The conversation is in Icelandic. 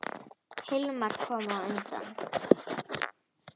Hilmar kom á undan.